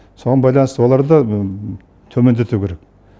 соған байланысты олар да төмендету керек